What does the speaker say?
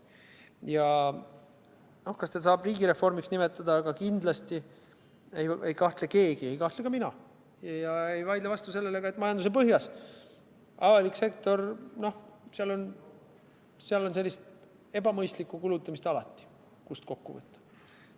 Kas seda saab just riigireformiks nimetada, aga kindlasti ei kahtle keegi – ei kahtle ka mina – ja ei vaidle vastu sellele, et kui ka majanduse on põhjas, siis avalikus sektoris on sellist ebamõistlikku kulutamist alati, kust kokku võtta.